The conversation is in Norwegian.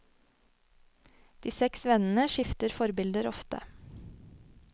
De seks vennene skifter forbilder ofte.